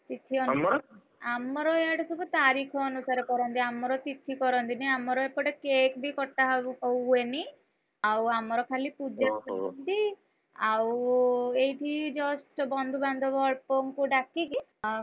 ଆମର ଇଆଡେ ସବୁ ତାରିଖ ଅନୁସାରେ କରନ୍ତି ଆମର ତିଥି କରନ୍ତିନି, ଆମର ଏପଟେ cake ବି କଟା ହୁଏନି ଆଉ ଆମର ଖାଲି ପୂଜା କରନ୍ତି ଆଉ ଏଇଠି just ବନ୍ଧୁବାନ୍ଧବ ଅଳ୍ପଙ୍କୁ ଡାକିକି,